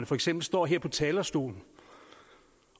for eksempel står her på talerstolen